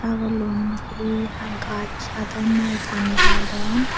sagulun hi ha gaas hadon na pani hadon.